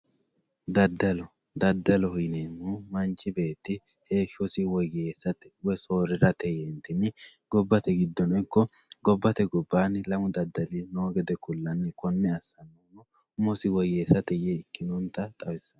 Dadalo dadaloho yineemohu manchi beeti heeshosi woyesate woyi soorirate yeentini gobbate gidono ikko lamu dani dadali noota kulani kone asani umosi woyeesate yee asano.